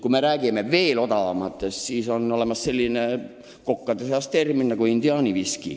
Kokad teavad seda indiaani viskit küll.